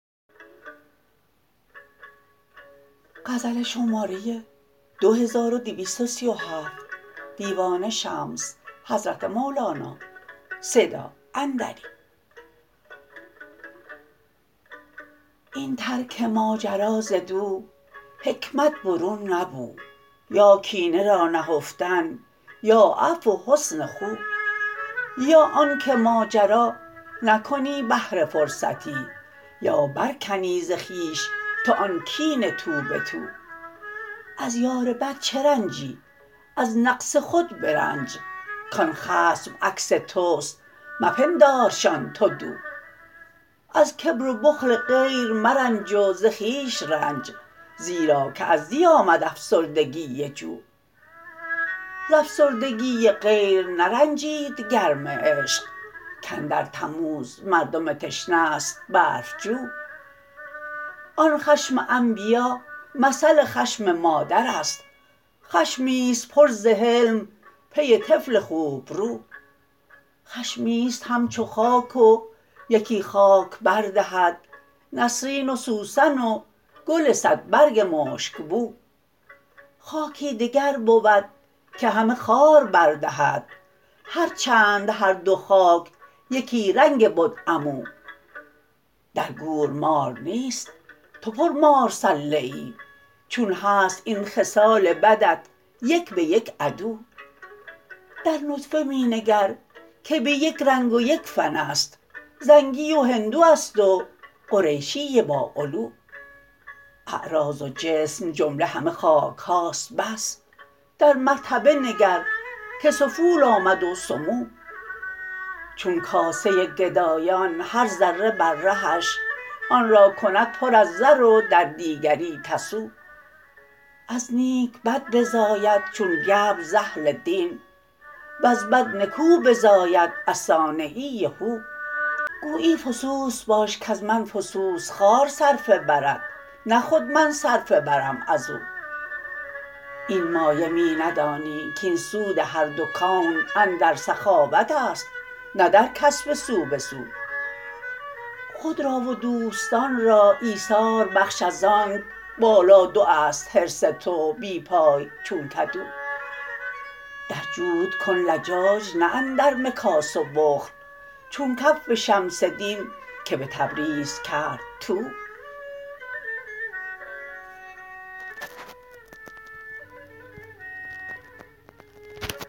این ترک ماجرا ز دو حکمت برون نبو یا کینه را نهفتن یا عفو و حسن خو یا آنک ماجرا نکنی به هر فرصتی یا برکنی ز خویش تو آن کین تو به تو از یار بد چه رنجی از نقص خود برنج کان خصم عکس توست مپندارشان تو دو از کبر و بخل غیر مرنج و ز خویش رنج زیرا که از دی آمد افسردگی جو ز افسردگی غیر نرنجید گرم عشق کاندر تموز مردم تشنه ست برف جو آن خشم انبیا مثل خشم مادر است خشمی است پر ز حلم پی طفل خوبرو خشمی است همچو خاک و یکی خاک بر دهد نسرین و سوسن و گل صدبرگ مشک بو خاکی دگر بود که همه خار بر دهد هر چند هر دو خاک یکی رنگ بد عمو در گور مار نیست تو پرمار سله ای چون هست این خصال بدت یک به یک عدو در نطفه می نگر که به یک رنگ و یک فن است زنگی و هندو است و قریشی باعلو اعراض و جسم جمله همه خاک هاست بس در مرتبه نگر که سفول آمد و سمو چون کاسه گدایان هر ذره بر رهش آن را کند پر از زر و در دیگری تسو از نیک بد بزاید چون گبر ز اهل دین وز بد نکو بزاید از صانعی هو گویی فسوس باشد کز من فسوس خوار صرفه برد نه خود من صرفه برم از او این مایه می ندانی کاین سود هر دو کون اندر سخاوت است نه در کسب سو به سو خود را و دوستان را ایثار بخش از آنک بالادو است حرص تو بی پای چون کدو در جود کن لجاج نه اندر مکاس و بخل چون کف شمس دین که به تبریز کرد طو